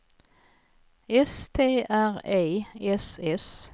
S T R E S S